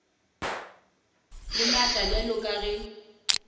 le maatla bjalo ka ge